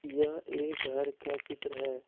यह एक घर का चित्र है।